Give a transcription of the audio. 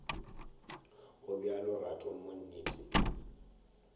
gobjalo rato mo nnete e